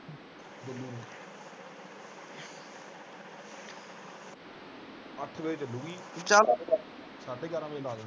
ਅੱਠ ਵਜੇ ਚਲੂਗੀ ਸਾਡੇ ਗਿਆਰਾਂ ਵਜੇ ਲਾਹ ਦੂਗੀ।